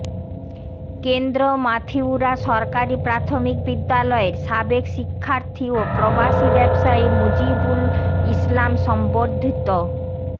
কেন্দ্র মাথিউরা সরকারি প্রাথমিক বিদ্যালয়ের সাবেক শিক্ষার্থী ও প্রবাসী ব্যবসায়ী মুজিবুল ইসলাম সংবর্ধিত